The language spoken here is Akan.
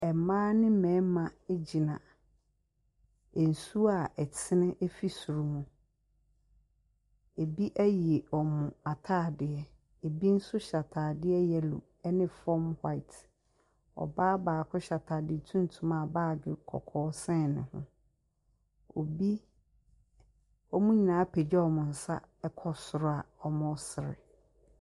Ɛmmaa ne mmɛɛma gyina nsuo a ɛtene efi soro mu. Ebi ayi ɔmo ataadeɛ. Ebi nso hyɛ ataadeɛ yɛlo ne fɔm hwaet. Ɔbaa baako hyɛ ataade tuntum a baage kɔkɔɔ sɛn ne ho. Ɔmo nyinaa apagya ɔmo nsa kɔ soro a ɔmo sere.